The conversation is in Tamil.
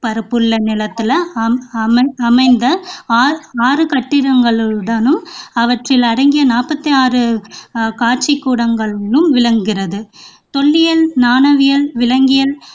பரப்புள்ள நிலத்தில அமைந்த ஆறு கட்டிடங்களுடனும் அவற்றில் அடங்கிய நாற்பத்தி ஆறு ஆஹ் காட்சிக்கூடங்களுடனும் விளங்குகிறது தொல்லியல், நாணயவியல், விலங்கியல்